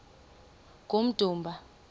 kummdumba